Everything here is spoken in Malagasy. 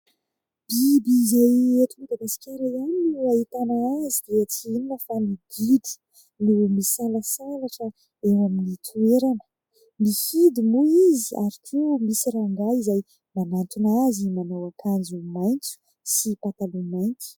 Biby izay eto Madagasikara ihany no ahitana azy dia tsy inona fa ny gidro no misalasalatra eo amin'ny toerana. Mihidy moa izy ary koa misy rangahy izay manantona azy manao akanjo maitso sy pataloha mainty.